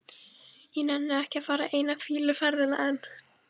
Ég nenni ekki að fara eina fýluferðina enn.